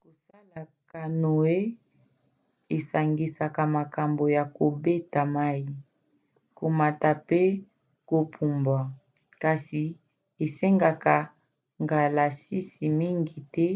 kosala canoe esangisaka makambo ya kobeta mai komata mpe kopumbwa - kasi esengaka ngalasisi mingi te